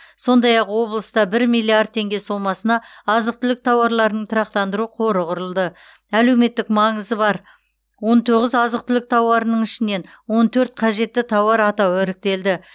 сондай ақ облыста бір миллиард теңге сомасына азық түлік тауарларының тұрақтандыру қоры құрылды әлеуметтік маңызы бар он тоғыз азық түлік тауарының ішінен он төрт қажетті тауар атауы іріктелді